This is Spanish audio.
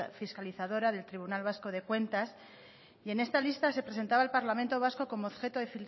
fiscalizadora del tribunal vasco de cuentas y en esta lista se presentaba el parlamento vasco como objeto